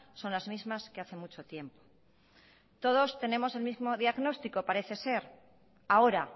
son las mismas que hace mucho tiempo todos tenemos el mismo diagnóstico parece ser ahora